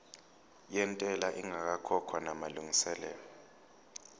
yentela ingakakhokhwa namalungiselo